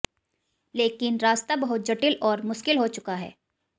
लेकिन रास्ता बहुत जटिल और मुश्किल हो चुका है